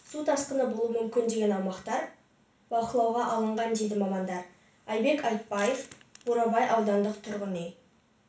су тасқыны болуы мүмкін деген аумақтар бақылауға алынған дейді мамандар айбек айтбаев бурабай аудандық тұрғын үй